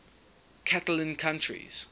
catalan countries